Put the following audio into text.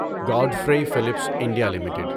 Godfrey Phillips India limited